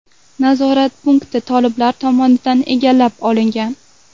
Nazorat punkti toliblar tomonidan egallab olingan.